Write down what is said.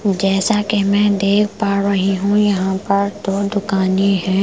जैसा कि मैं देख पा रही हूँ यहाँ पर दो दुकानें हैं ।